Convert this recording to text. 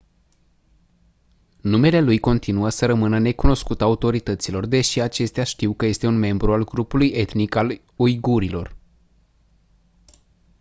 numele lui continuă să rămână necunoscut autorităților deși acestea știu că este un membru al grupului etnic al uigurilor